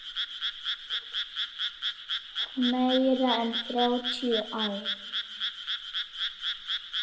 Meira en þrjátíu ár.